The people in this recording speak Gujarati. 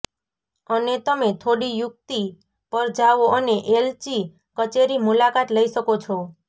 અને તમે થોડી યુક્તિ પર જાઓ અને એલચી કચેરી મુલાકાત લઈ શકો છો